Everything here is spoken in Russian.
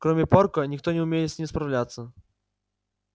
кроме порка никто не умеет с ним справляться